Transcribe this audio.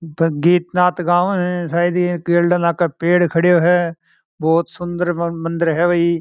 गीत गात गाव है गेला पेड़ खड़ा है बहुत सुन्दर मंदिर है भई।